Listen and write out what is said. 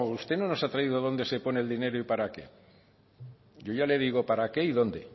usted no nos ha traído dónde se pone el dinero y para qué yo ya le digo para qué y dónde